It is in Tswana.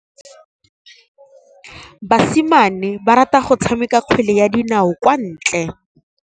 Basimane ba rata go tshameka kgwele ya dinaô kwa ntle.